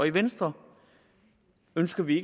i venstre ønsker vi